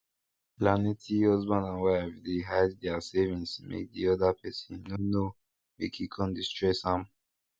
planety husband and wife dey hide their savings make di other person no no make e con dey stress am